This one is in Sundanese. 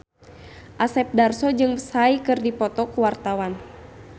Asep Darso jeung Psy keur dipoto ku wartawan